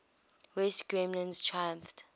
west germans triumphed